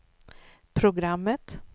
programmet